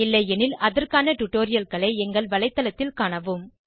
இல்லையெனில் அதற்கான டுடோரியல்களை எங்கள் வலைதளத்தில் காணவும்